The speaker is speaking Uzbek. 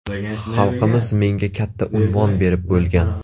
Xalqimiz menga katta unvon berib bo‘lgan.